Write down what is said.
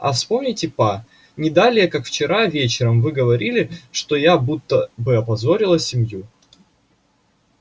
а вспомните па не далее как вчера вечером вы говорили что я будто бы опозорила семью